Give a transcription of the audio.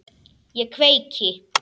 Ég kveiki.